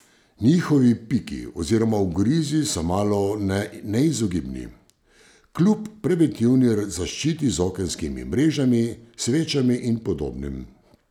Njihovi piki oziroma ugrizi so malone neizogibni, kljub preventivni zaščiti z okenskimi mrežami, svečami in podobnim.